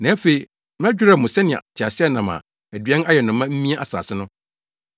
“Na afei, mɛdwerɛw mo sɛnea teaseɛnam a aduan ayɛ no ma mia asase no.